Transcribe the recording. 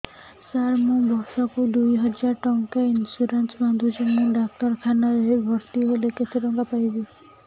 ସାର ମୁ ବର୍ଷ କୁ ଦୁଇ ହଜାର ଟଙ୍କା ଇନ୍ସୁରେନ୍ସ ବାନ୍ଧୁଛି ମୁ ଡାକ୍ତରଖାନା ରେ ଭର୍ତ୍ତିହେଲେ କେତେଟଙ୍କା ପାଇବି